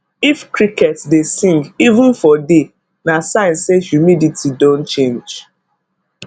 if cricket dey sing even for day na sign say humidity don change